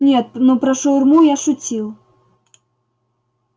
нет ну про шаурму я шутил